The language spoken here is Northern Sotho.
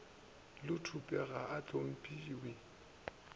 le thupe ga a hlomphiwe